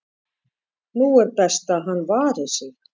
nú er best að hann vari sig,